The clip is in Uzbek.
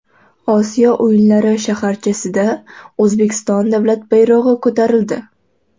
Osiyo o‘yinlari shaharchasida O‘zbekiston davlat bayrog‘i ko‘tarildi.